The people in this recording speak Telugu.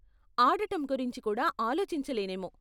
ఆడటం గురించి కూడా ఆలోచించలేనేమో.